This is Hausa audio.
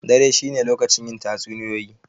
Dare shi ne lokacin yin tatsuniyoyi.